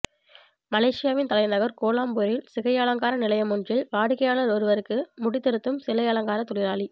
மலேசியாவின் தலைநகர் கோலாலம்பூரில் சிகையலங்கார நிலையமொன்றில் வாடிக்கையாளர் ஒருவருக்கு முடி திருத்தும் சிகையலங்காரத் தொழிலாளி